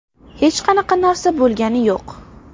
Hech qanaqa narsa bo‘lgani yo‘q.